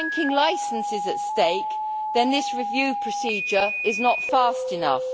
If a banking licence is at stake then this review procedure is not fast enough.